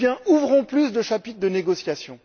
Ouvrons plus de chapitres de négociation!